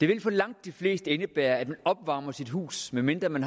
vil for langt de fleste indebære at man opvarmer sit hus medmindre man